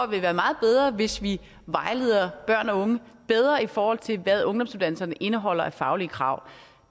vil være meget bedre hvis vi vejleder børn og unge bedre i forhold til hvad ungdomsuddannelserne indeholder af faglige krav